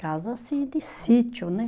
Casa assim, de sítio, né?